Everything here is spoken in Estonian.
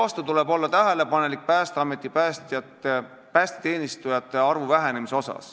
Samas tuleb tähelepanelikult suhtuda Päästeameti päästeteenistujate arvu vähenemisse.